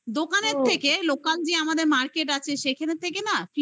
দোকানের থেকে local যে আমাদের market আছে সেখান থেকে না